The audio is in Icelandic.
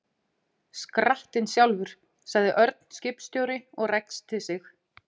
Skrattinn sjálfur, sagði Örn skipstjóri og ræskti sig.